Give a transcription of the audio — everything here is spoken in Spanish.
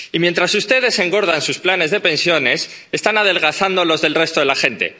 Y mientras ustedes engordan sus planes de pensiones, están adelgazando los del resto de la gente.